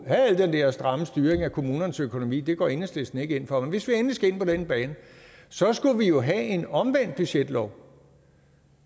have den der stramme styring af kommunernes økonomi det går enhedslisten ikke ind for så skulle vi jo have en omvendt budgetlov